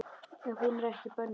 Ef hún er ekki bönnuð.